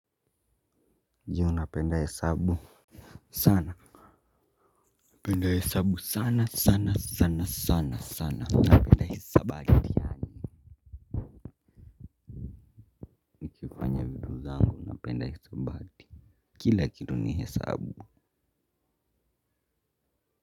Je unapenda hesabu sana napenda hesabu sana sana sana sana sana napenda hisabati nikifanya vitu zangu napenda hisabati kila kitu ni hesabu.